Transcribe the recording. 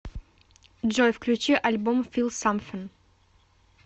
джой включи альбом фил самфин